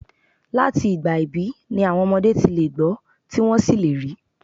Láti ìgbà ìbí ni àwọn ọmọdé ti lè gbọ́ tí wọ́n sì lè rí.